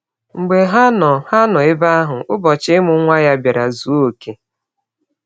Mgbe ha nọ ha nọ ebe ahụ, ụbọchị imụ nwa ya biara zụọ ọke.